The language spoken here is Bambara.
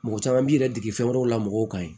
Mɔgɔ caman b'i yɛrɛ dege fɛn wɛrɛw la mɔgɔw kan yen